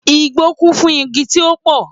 Igbó kún fún igi tí ó pò